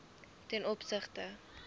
ten opsigte